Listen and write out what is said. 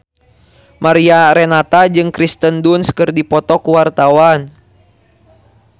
Mariana Renata jeung Kirsten Dunst keur dipoto ku wartawan